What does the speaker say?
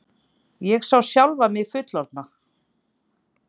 Ég sá sjálfa mig fullorðna.